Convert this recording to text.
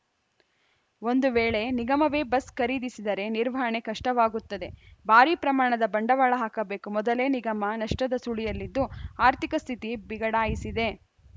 ಒಂದು ವೇಳೆ ನಿಗಮವೇ ಬಸ್‌ ಖರೀದಿಸಿದರೆ ನಿರ್ವಹಣೆ ಕಷ್ಟವಾಗುತ್ತದೆ ಭಾರಿ ಪ್ರಮಾಣದ ಬಂಡವಾಳ ಹಾಕಬೇಕು ಮೊದಲೇ ನಿಗಮ ನಷ್ಟದ ಸುಳಿಯಲ್ಲಿದ್ದು ಆರ್ಥಿಕ ಸ್ಥಿತಿ ಬಿಗಡಾಯಿಸಿದೆ